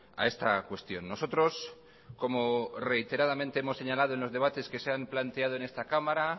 a esta cuestión nosotros como reiteradamente hemos señalado en los debates que se han planteado en esta cámara